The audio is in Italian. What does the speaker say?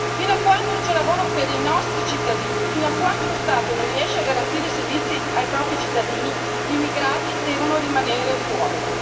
Fino a quanto non c'è lavoro per i nostri cittadini, fino a quando lo Stato non riesce a garantire i servizi ai propri cittadini, gli immigrati devono rimanere fuori.